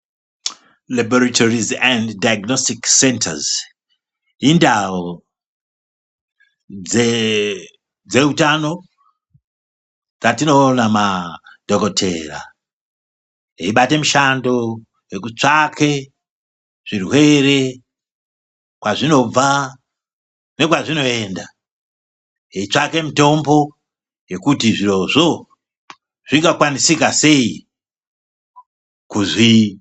Rabhoritorisi endi dhaiginositikisi sendazi Indawu dze dzeutano dzatinoona madhokotera eibate mishando wekutsvake zvirwere kwazvinobva nekwazvinoenda. Eitsvake mitombo yekuti zvirozvo zvingakwanisika sei kuzvi.